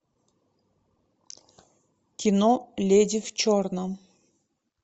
кино леди в черном